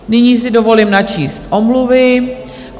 Nyní si dovolím načíst omluvy.